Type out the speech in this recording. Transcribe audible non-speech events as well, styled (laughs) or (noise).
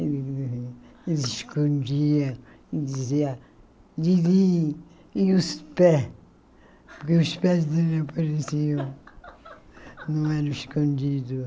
Ele me escondia e dizia, divinhe, e os pé, porque os pés dele apareciam, (laughs) não eram escondidos.